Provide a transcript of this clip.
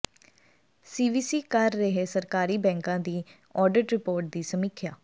CVC ਕਰ ਰਿਹੈ ਸਰਕਾਰੀ ਬੈਂਕਾਂ ਦੀ ਆਡਿਟ ਰਿਪੋਰਟ ਦੀ ਸਮੀਖਿਆ